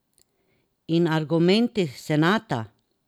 In argumenti senata?